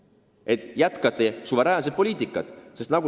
Väga hea, et te jätkate suveräänsuse poliitikat!